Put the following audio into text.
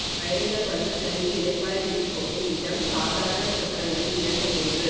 பயணிகள் வந்து தங்கி இளைப்பாறி விட்டுப் போகும் இடம் சாதாரணச் சத்திரங்களில் இரண்டு மூன்று